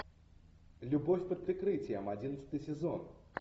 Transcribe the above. любовь под прикрытием одиннадцатый сезон